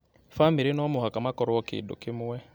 Bamĩrĩ no mũhaka makorwo kĩndũ kĩmwe